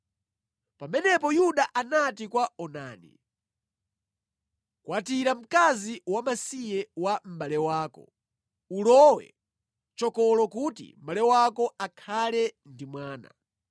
Pamenepo Yuda anati kwa Onani, “Kwatira mkazi wamasiye wa mʼbale wako. Ulowe chokolo kuti mʼbale wako akhale ndi mwana.”